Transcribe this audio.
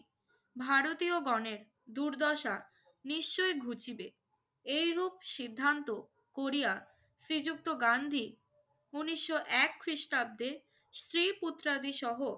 ভারতীয়গণের দুর্দশা নিশ্চয়ই ঘুচিবে। এইরূপ সিদ্ধান্ত করিয়া শ্রীযুক্ত গান্ধী ঊনিশো এক খ্রিস্টাব্দে স্ত্রী-পুত্রাদিসহ